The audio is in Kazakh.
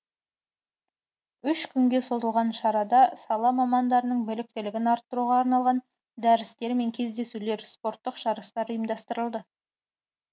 үш күнге созылған шарада сала мамандарының біліктілігін арттыруға арналған дәрістер мен кездесулер спорттық жарыстар ұйымдастырылды